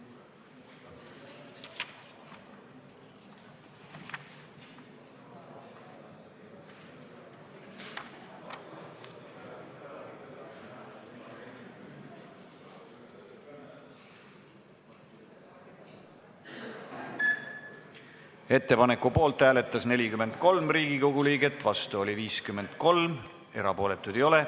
Hääletustulemused Ettepaneku poolt hääletas 43 Riigikogu liiget, vastu oli 53, erapooletuid ei ole.